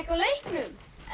leiknum